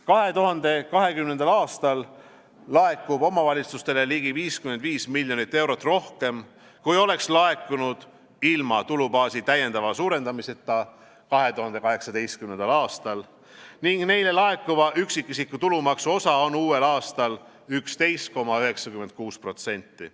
2020. aastal laekub omavalitsustele ligi 55 miljonit eurot rohkem, kui oleks laekunud ilma tulubaasi täiendava suurendamiseta 2018. aastal, ning neile laekuva üksikisiku tulumaksu osa on uuel aastal 11,96%.